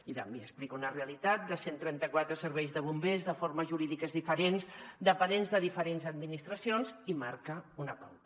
i també explica una realitat de cent i trenta quatre serveis de bombers de formes jurídiques diferents dependents de diferents administracions i marca una pauta